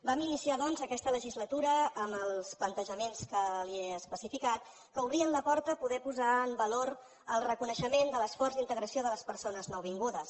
vam iniciar doncs aquesta legislatura amb els plantejaments que li he especificat que obrien la porta a poder posar en valor el reconeixement de l’esforç d’integració de les persones nouvingudes